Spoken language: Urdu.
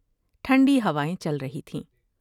ٹھنڈی ہوائیں چل رہی تھیں ۔